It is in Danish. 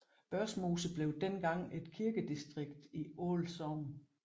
Børsmose blev dengang et kirkedistrikt i Aal Sogn